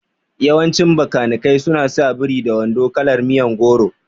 Yawancin Bakanikai su na sa biri da wando kalar miyon goro